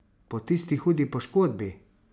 Po tisti hudi poškodbi!